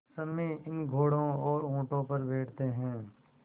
सम्मी इन घोड़ों और ऊँटों पर बैठते हैं